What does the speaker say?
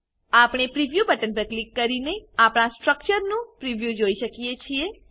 આપણે preview button પર click કરીને આપણા સ્ટ્રક્ચરનું પ્રિવ્યુ જોઈ શકીએ છે